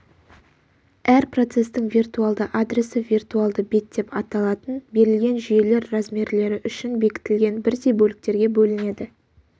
әр процестің виртуалды адресі виртуалды бет деп аталатын берілген жүйелер размерлері үшін бекітілген бірдей бөліктерге бөлінеді